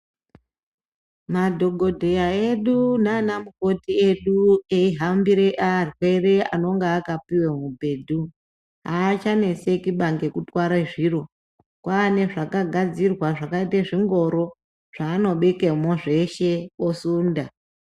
Madhokodheya edu nana mukoti edu eyi hambire arwere anonga aka piwe mubhedhu haacha neseki baa ngeku tware zviro kwane zvaka gadzirwa zvakaite zvingoro zvano bekemo zveshe osunda.